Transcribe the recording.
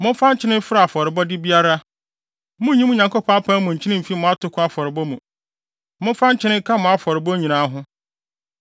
Momfa nkyene mfra afɔrebɔde biara. Munnyi mo Nyankopɔn apam mu nkyene mmfi mo atoko afɔrebɔ mu; momfa nkyene nka mo afɔrebɔ nyinaa ho.